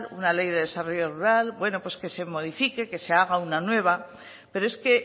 una ley de desarrollo rural que se modifique que se haga una nueva pero es que